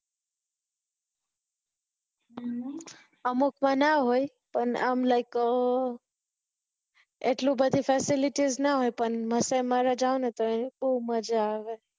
અમુક માં ના હોય પણ આમ like અર આટલું બધી facilities ના હોય પણ માસાય મારા જાવ ને તો બહુ મજા આવે